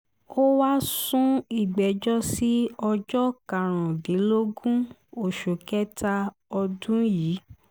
ó wáá sún ìgbẹ́jọ́ sí ọjọ́ karùndínlógún oṣù kẹta ọdún yìí